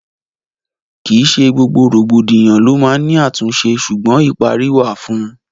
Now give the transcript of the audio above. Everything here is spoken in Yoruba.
Kì í ṣe gbogbo rògbòdìyàn lo máa n ni àtúnṣe, sugbon ìparí wà fún ùn